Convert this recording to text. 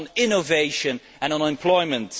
innovation and unemployment.